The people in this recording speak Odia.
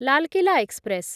ଲାଲ କିଲ୍ଲା ଏକ୍ସପ୍ରେସ୍